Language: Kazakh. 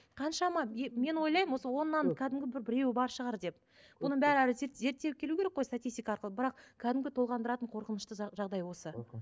қаншама мен ойлаймын осы оннан кәдімгі бір біреуі бар шығар деп оның бәрі әлі зерттеліп келу керек қой статистика арқылы бірақ кәдімгі толғандыратын қорқынышты жағдай осы мхм